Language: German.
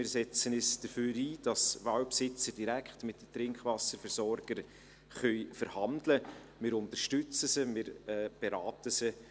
Wir setzen uns dafür ein, dass die Waldbesitzer direkt mit den Trinkwasserversorgern verhandeln können, wir unterstützen und beraten sie.